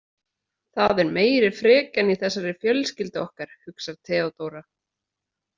Það er meiri frekjan í þessari fjölskyldu okkar, hugsar Theodóra.